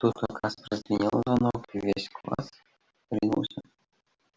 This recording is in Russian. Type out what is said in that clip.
тут как раз прозвенел звонок и весь класс ринулся к двери